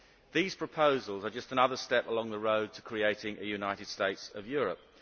These proposals are just another step along the road to creating a United States of Europe.